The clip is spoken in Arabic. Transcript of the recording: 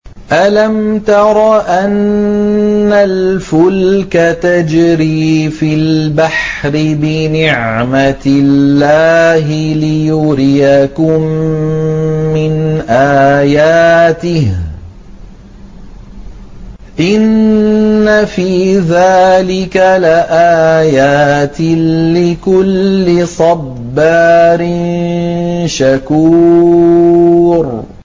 أَلَمْ تَرَ أَنَّ الْفُلْكَ تَجْرِي فِي الْبَحْرِ بِنِعْمَتِ اللَّهِ لِيُرِيَكُم مِّنْ آيَاتِهِ ۚ إِنَّ فِي ذَٰلِكَ لَآيَاتٍ لِّكُلِّ صَبَّارٍ شَكُورٍ